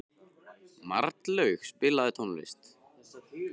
Marlaug, spilaðu tónlist.